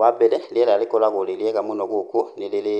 Wambere rĩera rĩkoragwo rĩ rĩega mũno gũkũ, nĩ rĩrĩ